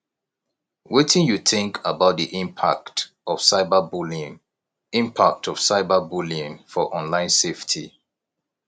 wetin you think about di impact of cyberbullying impact of cyberbullying for online safety